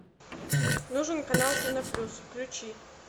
нужен канал кино плюс включи